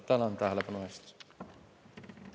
Tänan tähelepanu eest!